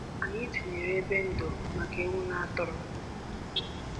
Anyị tinyere ebe ndo maka ewu na atụrụ.